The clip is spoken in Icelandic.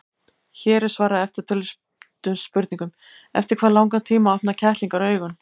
Hér er svarað eftirtöldum spurningum: Eftir hvað langan tíma opna kettlingar augun?